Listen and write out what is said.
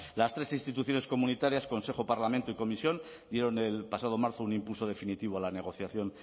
las tres instituciones comunitarias consejo parlamento y comisión dieron el pasado marzo un impulso definitivo a la negociación